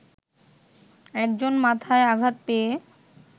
একজন মাথায় আঘাত পেয়ে